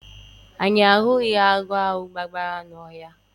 Anyị ahụghị agwọ ahụ gbabara n'oke ọhịa